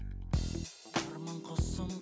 арман құсым